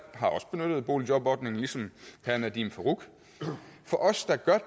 har også benyttet boligjobordningen ligesom herre nadeem farooq er